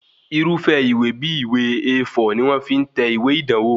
Irúfẹ́ ìwé bí ìwé A4 ni wọ́n fi ń tẹ̀wé ìdánwò